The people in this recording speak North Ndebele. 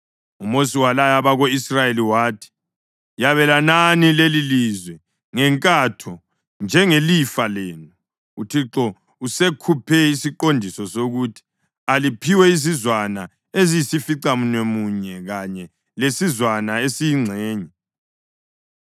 UMosi walaya abako-Israyeli wathi: “Yabelanani lelilizwe ngenkatho njengelifa lenu. UThixo usekhuphe isiqondiso sokuthi aliphiwe izizwana eziyisificamunwemunye kanye lesizwana esiyingxenye,